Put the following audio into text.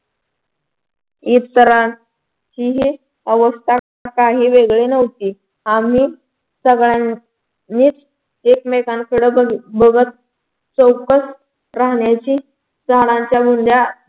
इतरांचीही काही अवस्था काही वेगळी नव्हती आम्ही सगळ्यांनीच एकमेकांकडे बघत चौकस राहण्याची झाडांच्या बुंध्या